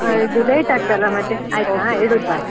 ಇದು Foreignlate ಆಗ್ತದಲ್ಲ ಮತ್ತೇ .